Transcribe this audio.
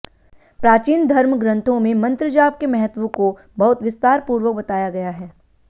प्राचीन धर्म ग्रन्थों में मंत्र जाप के महत्व को बहुत विस्तार पूर्वक बताया गया है